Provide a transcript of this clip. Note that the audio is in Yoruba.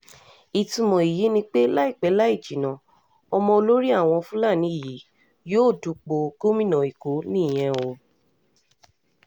ìtumọ̀ èyí ni pé láìpẹ́ láì jìnnà ọmọ olórí àwọn fúlàní yìí yóò du ipò gómìnà èkó nìyẹn o